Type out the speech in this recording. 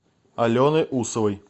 алены усовой